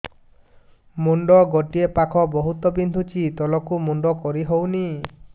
ମୁଣ୍ଡ ଗୋଟିଏ ପାଖ ବହୁତୁ ବିନ୍ଧୁଛି ତଳକୁ ମୁଣ୍ଡ କରି ହଉନି